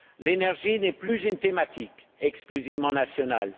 L'énergie n'est plus une thématique exclusivement nationale.